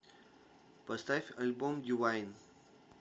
поставь альбом дивайн